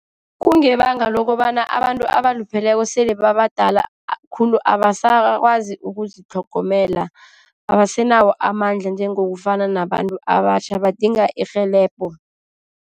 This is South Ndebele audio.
Kungebanga lokobana abantu abalupheleko sele sabadala khulu, abasakwazi ukuzitlhogomela. Abasenawo amandla njengokufana nabantu abatjha. Badinga irhelebho.